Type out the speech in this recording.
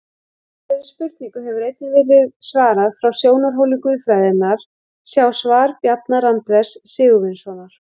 Þessari spurningu hefur einnig verið svarað frá sjónarhóli guðfræðinnar, sjá svar Bjarna Randvers Sigurvinssonar.